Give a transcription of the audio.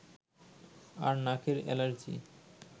আর নাকের এলার্জি